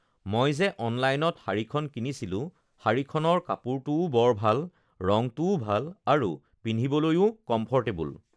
মই যে অনলাইনত শাৰীখন কিনিছিলোঁ শাৰীখনৰ কাপোৰটোও বৰ ভাল ৰংটোও ভাল আৰু পিন্ধিবলৈও কমফৰ্টেবল